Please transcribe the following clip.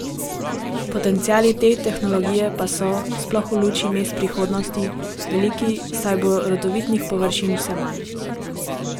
Potenciali te tehnologije pa so, sploh v luči mest prihodnost, veliki, saj bo rodovitnih površin vse manj.